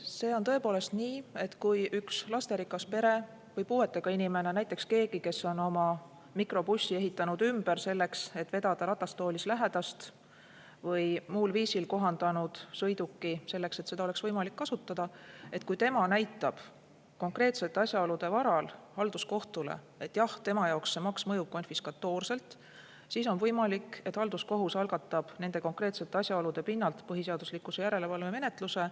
See on tõepoolest nii, et kui üks lasterikas pere või puuetega inimene või näiteks keegi, kes on oma mikrobussi ehitanud ümber, selleks et vedada ratastoolis lähedast, või muul viisil kohandanud sõiduki selleks, et seda oleks võimalik kasutada – kui tema näitab konkreetsete asjaolude varal halduskohtule, et tema jaoks see maks mõjub konfiskatoorselt, siis on võimalik, et halduskohus algatab nende konkreetsete asjaolude pinnalt põhiseaduslikkuse järelevalve menetluse.